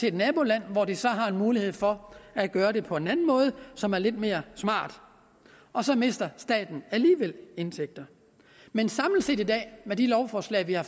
et naboland hvor de så har mulighed for at gøre det på en anden måde som er lidt mere smart og så mister staten alligevel indtægter men samlet set med de lovforslag vi har